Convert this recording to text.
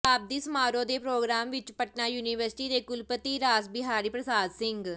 ਸ਼ਤਾਬਦੀ ਸਮਾਰੋਹ ਦੇ ਪਰੋਗਰਾਮ ਵਿੱਚ ਪਟਨਾ ਯੂਨੀਵਰਸਿਟੀ ਦੇ ਕੁਲਪਤੀ ਰਾਸ ਬਿਹਾਰੀ ਪ੍ਰਸਾਦ ਸਿੰਘ